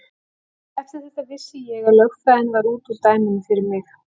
Eftir þetta vissi ég að lögfræðin var út úr dæminu fyrir mig.